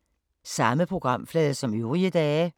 Samme programflade som øvrige dage